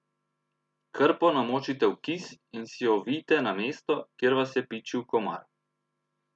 Krpo namočite v kis in si jo ovijte na mesto, kjer vas je pičil komar.